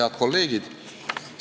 Head kolleegid!